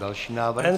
Další návrh.